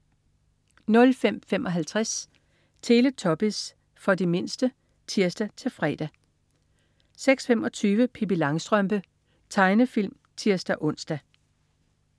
05.55 Teletubbies. For de mindste (tirs-fre) 06.25 Pippi Langstrømpe. Tegnefilm (tirs-ons)